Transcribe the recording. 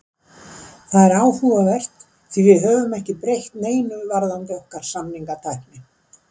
Það er áhugavert því við höfum ekki breytt neinu varðandi okkar samningatækni.